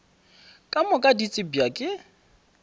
ka moka di tsebja ke